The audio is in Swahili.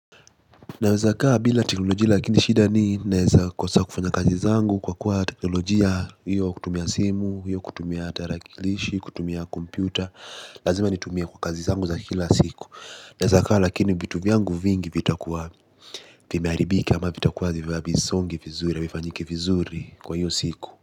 Nawezakaa bila teknolojia lakini shida ni naweza kosa kufanya kazi zangu kwa kuwa teknologia hiyo kutumia simu, hiyo kutumia tarakilishi kutumia komputa lazima nitumie kwa kazi zangu za kila siku. Naweza kaa lakini vitu vyangu vingi vitakuwa vimeharibika ama vitakuwa hivi songi vizuri havifanyiki vizuri kwa hiyo siku.